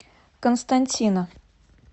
константина